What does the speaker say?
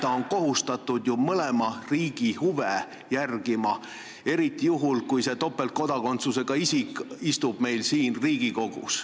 Ta on ju kohustatud mõlema riigi huve silmas pidama, eriti juhul, kui see topeltkodakondsusega isik istub meil siin Riigikogus.